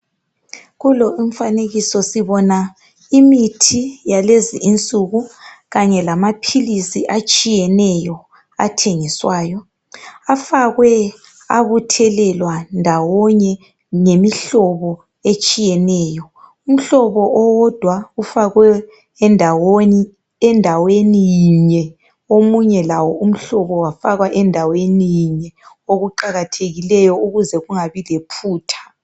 kulo umfanekiso sibona imithi yalezi insuku kanye lamaphilisi atshiyeneyo athengiswayo afakwe abuthelelwa ndawonye ngemihlobo etshiyeneyo umhlobo owodwa ufakwe endaweni yinye omunye lawo umhlobo wafakwa endaweni yinye okuqakathekileyo ukuze kungabi lephutha